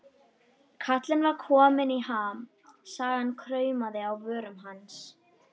Kallinn var kominn í ham, sagan kraumaði á vörum hans.